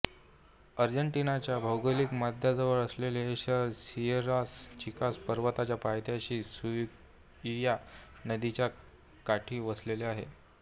आर्जेन्टीनाच्या भौगोलिक मध्याजवळ असलेले हे शहर सियेरास चिकास पर्वतांच्या पायथ्याशी सुकुइया नदीच्या काठी वसलेले आहे